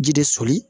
Ji de soli